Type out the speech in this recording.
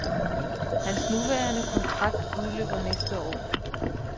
Hans nuværende kontrakt udløber næste år.